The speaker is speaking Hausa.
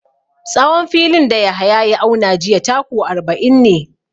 Tsawon filin da Yahaya ya auna jiya taku arba'in ne.